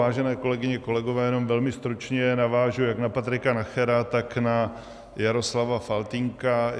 Vážené kolegyně, kolegové, jenom velmi stručně navážu jak na Patrika Nachera, tak na Jaroslava Faltýnka.